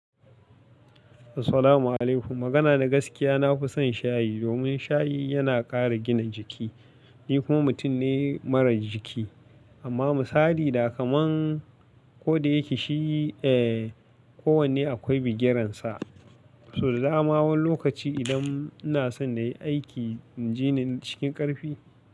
Assalamu'alaikum, magana na gaskiya, na fi son shayi domin shayi yana ƙara gina jiki. Ni kuma mutum ne marar jiki. Amma misali da kaman ko da yake shi, eh, kowanne akwai bigiransa. To, dama wan lokaci idan ina son na yi aiki, inji na cikin ƙarfi.